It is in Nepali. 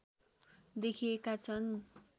देखिएका छन्